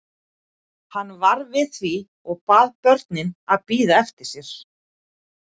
Hann varð við því og bað börnin að bíða eftir sér.